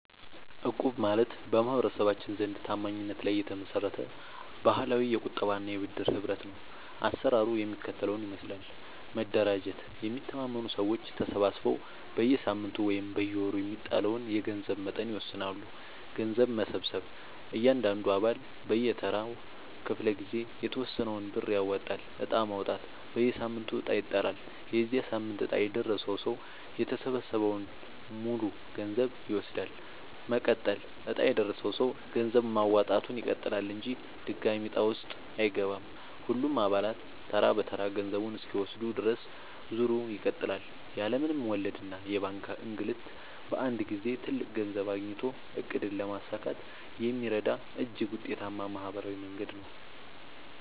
እቁብ ማለት በማህበረሰባችን ዘንድ ታማኝነት ላይ የተመሰረተ ባህላዊ የቁጠባና የብድር ህብረት ነው። አሰራሩ የሚከተለውን ይመስላል፦ መደራጀት፦ የሚተማመኑ ሰዎች ተሰባስበው በየሳምንቱ ወይም በየወሩ የሚጣለውን የገንዘብ መጠን ይወስናሉ። ገንዘብ መሰብሰብ፦ እያንዳንዱ አባል በየተራው ክፍለ-ጊዜ የተወሰነውን ብር ያዋጣል። ዕጣ ማውጣት፦ በየሳምንቱ ዕጣ ይጣላል። የዚያ ሳምንት ዕጣ የደረሰው ሰው የተሰበሰበውን ሙሉ ገንዘብ ይወስዳል። መቀጠል፦ ዕጣ የደረሰው ሰው ገንዘብ ማዋጣቱን ይቀጥላል እንጂ ድጋሚ ዕጣ ውስጥ አይገባም። ሁሉም አባላት ተራ በተራ ገንዘቡን እስኪወስዱ ድረስ ዙሩ ይቀጥላል። ያለ ምንም ወለድና የባንክ እንግልት በአንድ ጊዜ ትልቅ ገንዘብ አግኝቶ ዕቅድን ለማሳካት የሚረዳ እጅግ ውጤታማ ማህበራዊ መንገድ ነው።